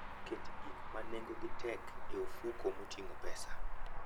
Ket gik ma nengogi tek e ofuko moting'o pesa.